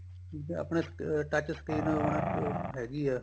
ਠੀਕ ਏ ਆਪਣੇ touch screen ਹੁਣ ਉਹ ਹੈਗੀ ਏ